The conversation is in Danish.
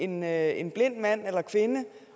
med en blind mand eller kvinde